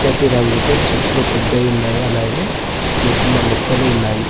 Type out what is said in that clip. పచ్చటి రంగుతో చెట్లు పెద్దవి ఉన్నాయి అలాగే చిన్న చిన్న మొక్కలు ఉన్నాయి.